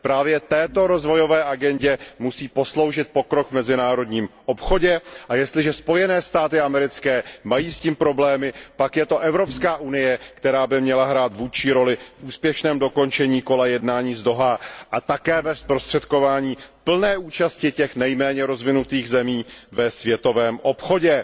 Právě této rozvojové agendě musí posloužit pokrok v mezinárodním obchodě a jestliže s tím Spojené státy americké mají problémy, pak je to Evropská unie, která by měla hrát vůdčí roli v úspěšném dokončení kola jednání z Dohá a také ve zprostředkování plné účasti těch nejméně rozvinutých zemí ve světovém obchodě.